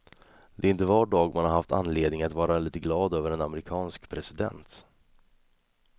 Det är inte var dag man har haft anledning att vara lite glad över en amerikansk president.